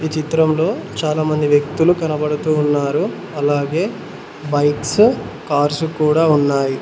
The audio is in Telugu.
చిత్రం లో చాలా మంది వ్యక్తులు కనబడుతూ ఉన్నారు అలాగే బైక్సు కార్సు కుడా ఉన్నాయి.